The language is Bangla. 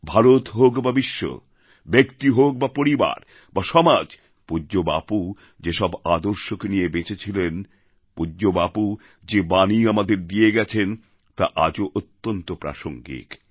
ভারত হোক বা বিশ্ব ব্যক্তি হোক বা পরিবার বা সমাজ পূজ্য বাপু যেসব আদর্শকে নিয়ে বেঁচেছিলেন পূজ্য বাপু যে বাণী আমাদের দিয়ে গেছেন তা আজও অত্যন্ত প্রাসঙ্গিক